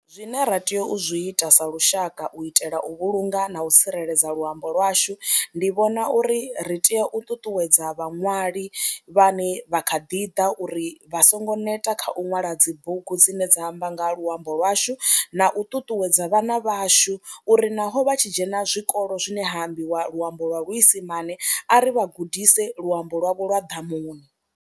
Zwine ra tea u zwi ita sa lushaka u itela u vhulunga na u tsireledza luambo lwashu ndi vhona uri ri tea u ṱuṱuwedza vhaṅwali vhane vha kha ḓi ḓa uri vha songo neta kha u ṅwala lwa dzi bugu dzine dza amba nga luambo lwashu na u ṱuṱuwedza vhana vhashu uri naho vha tshi dzhena zwikolo zwine hambiwa luambo lwa luisimane a ri vha gudise luambo lwavho lwa ḓamuni.